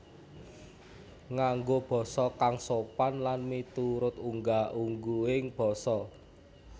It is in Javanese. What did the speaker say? Nganggo basa kang sopan lan miturut unggah ungguhing basa